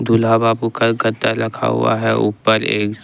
दूल्हा बाबू का गद्दा रखा है ऊपर एक--